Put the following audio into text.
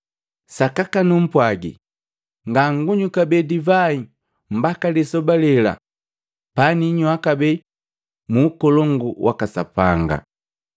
Sakaka nupwagii, ngangunywi kabee divai mbaka lisoba lela paniywaa kabee mu Ukolongu waka Sapanga.”